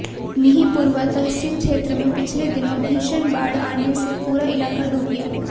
मिहींपुरवा तहसील क्षेत्र में पिछले दिनों भीषण बाढ़ आने से पूरा इलाका डूब गया